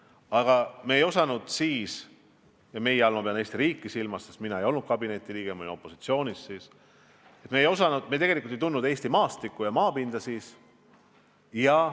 Aga me ei tundnud siis – ja "meie" all ma pean silmas Eesti riiki, sest mina ei olnud kabineti liige, ma olin opositsioonis – tegelikult Eesti maastikku ja maapinda.